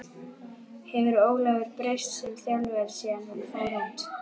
Hefur Ólafur breyst sem þjálfari síðan hann fór út?